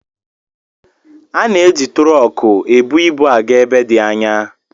Ana-eji tụrọkụ ebu ibu aga ebe dị anya